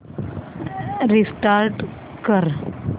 restart कर